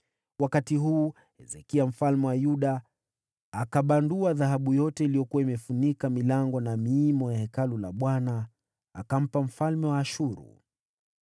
Wakati huu Hezekia mfalme wa Yuda akabandua dhahabu yote iliyokuwa imefunika milango na miimo ya Hekalu la Bwana , akampa mfalme wa Ashuru.